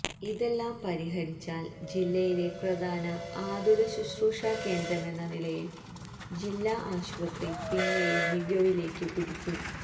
ഇതെല്ലാം പരിഹരിച്ചാൽ ജില്ലയിലെ പ്രധാന ആതുരശുശ്രൂഷാ കേന്ദ്രമെന്ന നിലയിൽ ജില്ലാ ആസ്പത്രി പിന്നെയും മികവിലേക്ക് കുതിക്കും